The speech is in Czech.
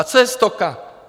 A co je Stoka?